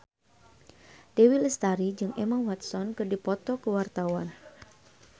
Dewi Lestari jeung Emma Watson keur dipoto ku wartawan